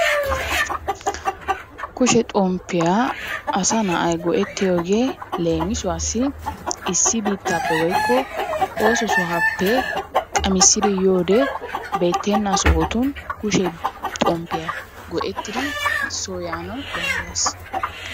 Kushe xomppiyaa asa na'ay go; ettiyoogee leemissuwassi issi biittaappe woykko ooso sohuwaappe qammisidi yiyoode beetenna sohotun kushe xomppiya go'ettidi soo yaana danddayees.